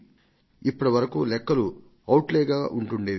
ఇప్పటివరకు లెక్కలు ఔట్లే గా ఉంటుండేవి